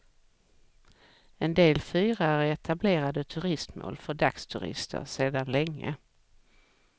En del fyrar är etablerade turistmål för dagsturister sedan länge.